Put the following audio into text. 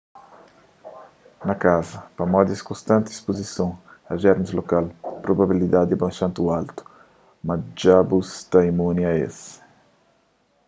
na kaza pamodi es konstanti ispuzison a jermis lokal probabilidadi é bastanti altu ma dja bu sta imuni a es